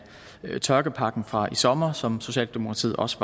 tørkepakken fra i sommers som socialdemokratiet også